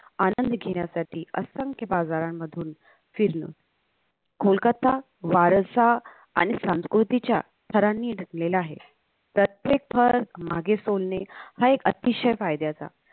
आनंद घेण्यासाठी असंख्य बाजारांमधुन फिरणं कोलकत्ता वारसा आणि संस्कृतीच्या थरांनी नटलेला आहे प्रत्येक थर मागे सोडणे हा एक अतिशय फायद्याचा